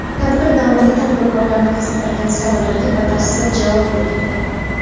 Tadbir davomida tadbirkorlarni qiziqtirgan savollarga batafsil javob berildi.